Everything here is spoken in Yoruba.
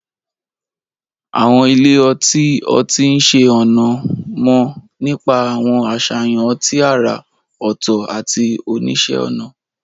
Àwọn ilé ọtí ọtí oníṣẹ́-ọnà mọ̀ nípa àwọn àṣàyàn ọtí àrà ọ̀tọ̀ àti oníṣẹ́-ọnà.